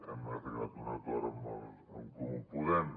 hem arribat a un acord amb en comú podem